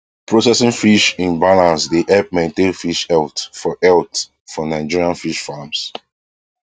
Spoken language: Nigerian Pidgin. processing fish in balance dey help maintain fish health for health for nigerian fish farms